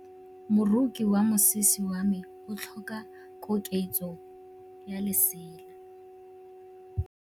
Moroki wa mosese wa me o tlhoka koketsô ya lesela.